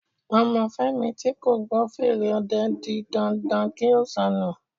Ọmọ Fẹ́mi tí kò gbọ́ fèrè ọdẹ di dandan kí ó sọnù